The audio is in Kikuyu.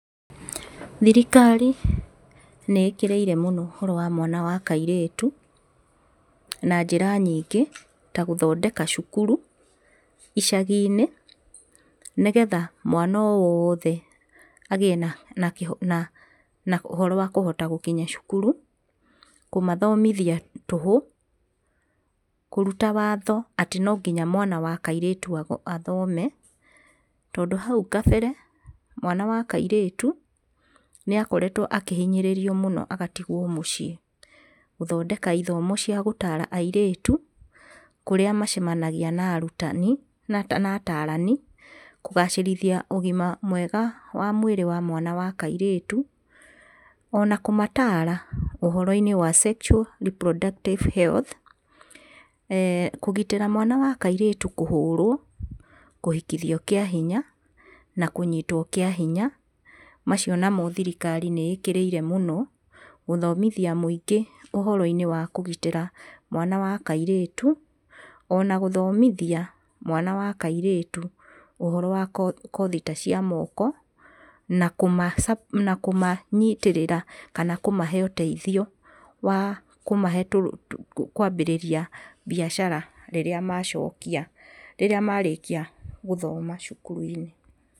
Thirikari, nĩ ĩkĩrĩire mũno ũhoro wa mwana wa kairĩtũ, na njĩra nyingĩ, ta gũthondeka cukuru, icaginĩ, nĩgetha mwana o wothe agĩe na na ũhoro wa kũhota gũkinya cukuru, kũmathomithia tũhũ, kũruta watho atĩ nonginya mwana wa kairĩtu athome, tondũ hau kabere, mwana wa kairĩtũu, nĩakoretwo akĩhonyĩrĩrio mũno agatigwo mũciĩ, gũthondeka ithomo cia gũtara airĩtu, kũrĩa macemanagia na arutani, na atarani, kũgacĩrithia ũgima mwega wa mwĩrĩ wa mwana wa kairĩtu ona kũmatara ũhoroinĩ wa sexual reproductive health kũgitĩra mwana wa kairĩtu kũhũrwo, kũhikithio kĩa hinya, na kũnyitwo kĩa hinya, macio namo thirikari nĩikĩrĩire mũno, gũthomithia mũingĩ ũhoroinĩ wa kũgitĩra mwana wa kairĩtu, ona gũthomithia mwana wa kairĩtu ũhoro wa kothi ta cia moko, na kũma na kũma nyitĩrĩra kana kũmahe ũteithio wa kũmahe tũrũ kwambĩrĩria mbiacara rĩrĩa macokia rĩrĩa marĩkia gũthoma cukuruinĩ.